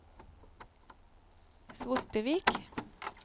Svortevik